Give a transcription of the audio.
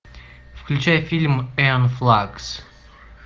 включай фильм энн флакс